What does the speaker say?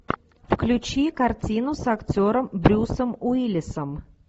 включи картину с актером брюсом уиллисом